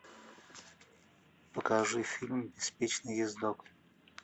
покажи фильм беспечный ездок